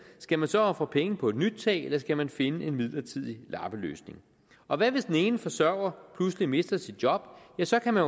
skal man så ofre penge på et nyt tag eller skal man finde en midlertidig lappeløsning og hvad hvis den ene forsørger pludselig mister sit job ja så kan man